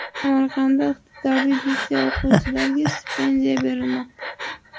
Samarqandda iqtidorli litsey o‘quvchilariga stipendiya berilmoqda.